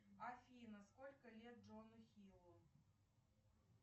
афина сколько лет джону хиллу